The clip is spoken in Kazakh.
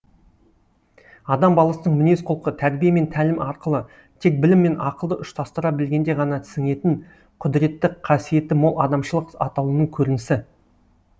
адам баласының мінез құлқы тәрбие мен тәлім арқылы тек білім мен ақылды ұштастыра білгенде ғана сіңетін құдіретті қасиеті мол адамшылық атаулының көрінісі